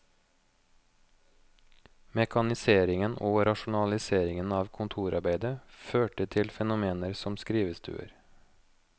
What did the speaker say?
Mekaniseringen og rasjonaliseringen av kontorarbeidet førte til fenomener som skrivestuer.